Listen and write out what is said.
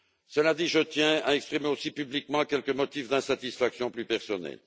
Cela dit, je tiens à exprimer aussi publiquement quelques motifs d'insatisfaction plus personnels.